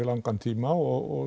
langan tíma og